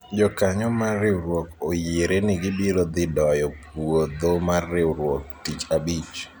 jokanyo mar riwruok oyiere ni gibiro dhi doyo puodho mar riwruok tich abich